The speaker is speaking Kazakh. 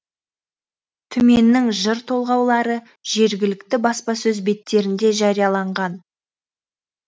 түменнің жыр толғаулары жергілікті баспасөз беттерінде жарияланған